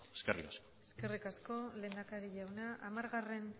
eskerrik asko eskerrik asko lehendakari jauna hamargarren